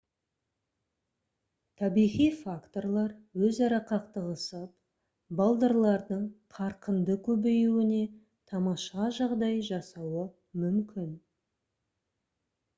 табиғи факторлар өзара қақтығысып балдырлардың қарқынды көбеюіне тамаша жағдай жасауы мүмкін